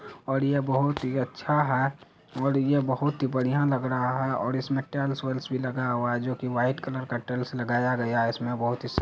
और ये बहुत ही अच्छा है और ये बहुत ही बढ़िया लग रहा है और इसमें टाइल्स उल्स भी लगा हुआ हैजो की व्हाइट कलर का टाइल्स लगाया गया है । इसमें बहोत ही--